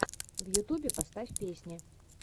в ютубе поставь песни